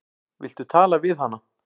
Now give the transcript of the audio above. Viltu tala við hana?